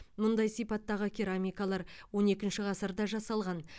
мұндай сипаттағы керамикалар он екінші ғасырда жасалған